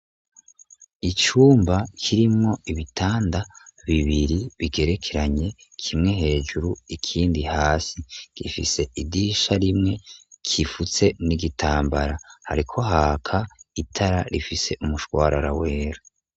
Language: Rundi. Icumba kirimwo ibitanda bibiri bigerekeranye, kimwe hejuru, ikindi hasi, gifise idisha rimwe, gifutse n'igitambara, hariko haka itara rifise umushwarara wera.